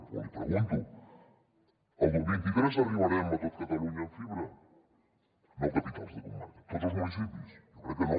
o l’hi pregunto el vint tres arribarem a tot catalunya amb fibra no capitals de comarca tots els municipis jo crec que no